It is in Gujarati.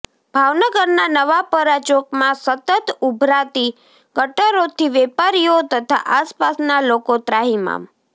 ભાવનગરના નવાપરા ચોકમાં સતત ઉભરાતી ગટરોથી વેપારીઓ તથા આસપાસના લોકો ત્રાહિમામ